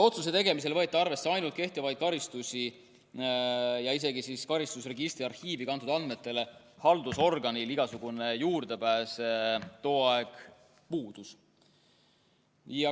Otsuse tegemisel võeti arvesse ainult kehtivaid karistusi ja isegi karistusregistri arhiivi kantud andmetele haldusorganil igasugune juurdepääs tol ajal puudus.